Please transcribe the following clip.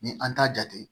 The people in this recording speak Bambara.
Ni an t'a jate